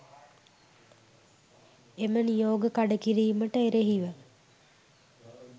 එම නියෝග කඩ කිරීමට එරෙහිව